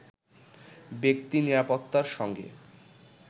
ব্যক্তি নিরাপত্তার সঙ্গে